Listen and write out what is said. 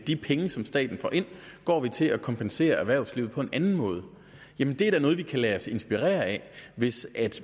de penge som staten får ind til at kompensere erhvervslivet på en anden måde det er da noget vi kan lade os inspirere af hvis